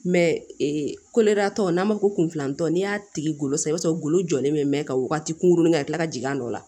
ee tɔ n'an b'a fɔ kun filantɔ n'i y'a tigi golo san i b'a sɔrɔ golo jɔlen bɛ mɛ ka wagati kunkurunin kɛ ka kila ka jigin a nɔ la